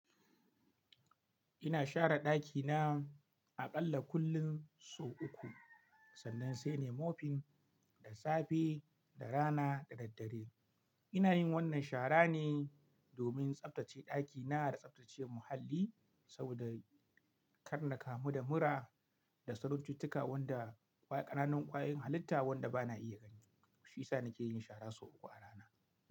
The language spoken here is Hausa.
Ina share ɗakina aƙalla kullum sau uku. Sannan sai nai mofin da safe da rana da daddare. Ina yin wannan shara ne domin tsabtace ɗakina da tsabtace muhalli saboda kar na kamu da mura da sarancuttuka wanda ƙananan ƙwayoyin halitta wanda ba na iya gani. Shiyasa nake yin shara sau uku a rana.